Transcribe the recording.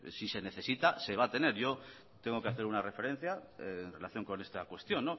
si se necesita se va a tener yo tengo que hacer una referencia en relación con esta cuestión